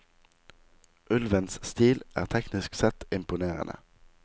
Ulvens stil er teknisk sett imponerende.